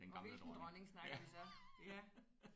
Og hvilken dronning snakker vi så ja